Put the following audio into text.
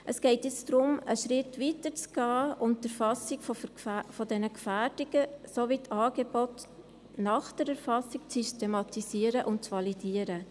Es geht nun darum, einen Schritt weiter zu gehen und die Erfassung dieser Gefährdungen sowie die Angebote nach der Erfassung zu systematisieren und zu validieren.